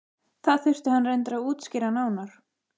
Það þurfti hann reyndar að útskýra nánar.